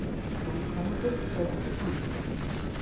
En kvennagull eða ekki kvennagull.